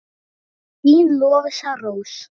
Þín Lovísa Rós.